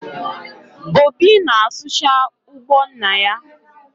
Obi na-asụcha ugbo nna ya